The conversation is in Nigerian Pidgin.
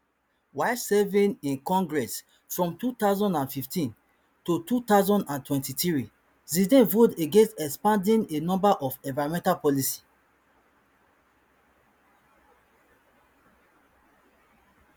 while serving in congress from two thousand and fifteen to two thousand and twenty-three zeldin vote against expanding a number of environmental policies